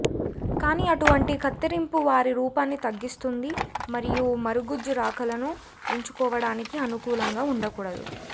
కానీ అటువంటి కత్తిరింపు వారి రూపాన్ని తగ్గిస్తుంది మరియు మరగుజ్జు రకాలను ఎంచుకోవడానికి అనుకూలంగా ఉండకూడదు